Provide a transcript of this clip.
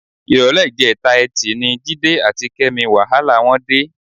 Ìrọ̀lẹ́ ìjẹta Ẹtì ni Jídé àti Kẹ́mi wàhálà wọn dé.